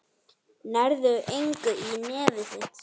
Nærðu engu í nefið þitt.